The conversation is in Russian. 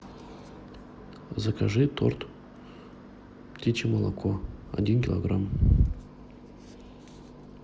закажи торт птичье молоко один килограмм